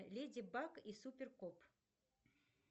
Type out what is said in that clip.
леди баг и супер кот